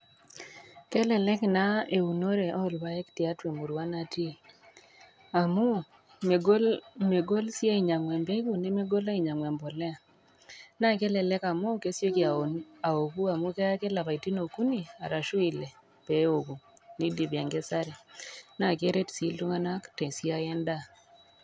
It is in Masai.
Kelelek naa eunore orpaek tiatua emurua natii amu megol megol si ainyangu embegu nemegol ainyangu embolea ,nakelelek amu kesieki aoku amu keya ake lapaitin okuni arashu ile peoku nidipi enkesare nakeret si iltunganak tesiai endaa.